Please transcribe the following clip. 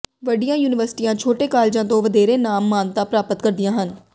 ਵੱਡੀਆਂ ਯੂਨੀਵਰਸਿਟੀਆਂ ਛੋਟੇ ਕਾਲਜਾਂ ਤੋਂ ਵਧੇਰੇ ਨਾਮ ਮਾਨਤਾ ਪ੍ਰਾਪਤ ਕਰਦੀਆਂ ਹਨ